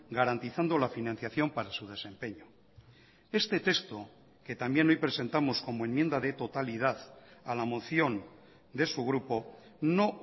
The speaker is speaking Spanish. garantizando la financiación para su desempeño este texto que también hoy presentamos como enmienda de totalidad a la moción de su grupo no